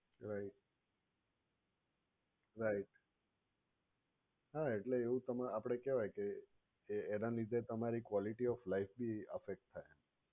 Right right એવું તમારે આપણે કેહવાય કે જે એના લીધે તમારી quality of life ભી affect થાય.